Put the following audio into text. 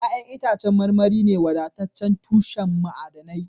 Ya'yan itacen marmari ne wadataccen tushen ma'adanai